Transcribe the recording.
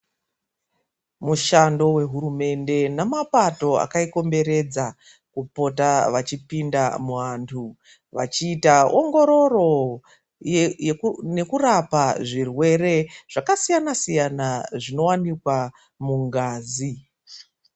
Mushando wehurumende nemapato akaikomberedza, kupota vachipinda muantu, vachiita ongororo nekurapa zvirwere zvakasiyana siyana zvinowanikwa mungazi.